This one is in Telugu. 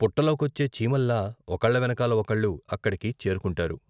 పుట్టలోకొచ్చే చీమల్లా ఒకళ్ళ వెనకాల ఒకళ్ళు అక్కడికి చేరుకుంటారు.